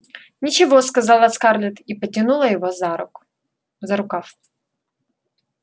ничего сказала скарлетт и потянула его за руку за рукав